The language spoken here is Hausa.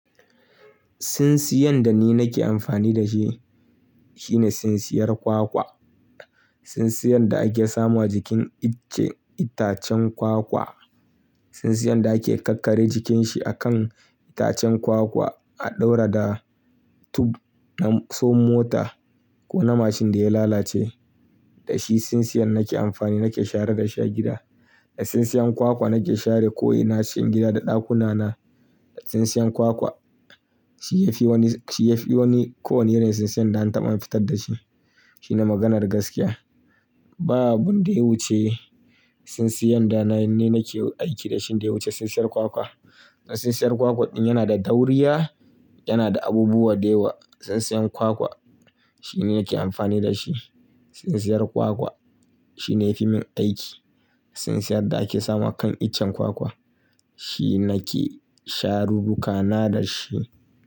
Sinsiyan da ni nake amfani da shi shine sinsiyar kwakwa. Sinsiyan da ake samu a jikin itacen kwakwa. Sinsiyan da ake ƙakkare jikin shi akan itacen kwakwa a ɗaura da tub na som mota ko na mashin da ya lalace. Da shi sinsiyan nake amfani nake shara da shi gida. Da sinsiyan kwakwa nake share ko'ina cikin gida da ɗakuna na. Da sinsiyan kwakwa shi yafi wani, shi yafi kowani irin sinsiyan da na taɓa fitar da shi. Shi ne maganar gaskiya. Babu abu dai wuce sinsiyan da na ni nake aiki da shi da ya wuce sinsiyar kwakwa. Sinsiyar kwakwa ɗin yana da dauriya, yana da abubuwa da yawa. Sinsiyan kwakwa shi ne nake amfani da shi. Sinsiyar kwakwa shi ne yafi min aiki. Sinsiyan da ake samu a kan icen kwakwa shi nake sharu rukana da shi.